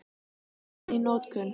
Hún er enn í notkun.